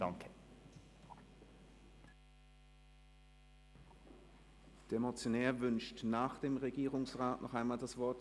Der Motionär wünscht nach dem Regierungsrat noch einmal das Wort.